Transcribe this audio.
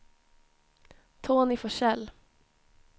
Tony Forsell